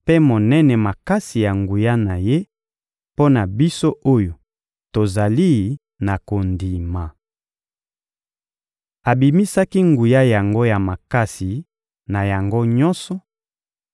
mpe monene makasi ya nguya na Ye mpo na biso oyo tozali na kondima. Abimisaki nguya yango na makasi na yango nyonso